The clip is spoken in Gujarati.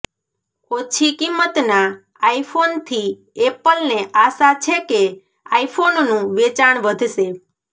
ઓછી કિંમતના આઇફોનથી એપલને આશા છેકે આઇફોનનું વેચાણ વધશે